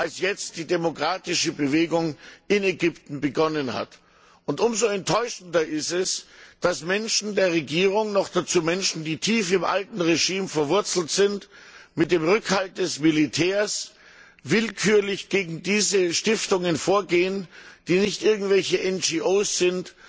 als jetzt die demokratische Bewegung in Ägypten begonnen hat. Umso enttäuschender ist es, dass Menschen der Regierung, noch dazu Menschen, die tief im alten Regime verwurzelt sind, mit dem Rückhalt des Militärs willkürlich gegen diese Stiftungen vorgehen, die nicht irgendwelche NGO sind,